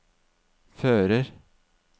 fører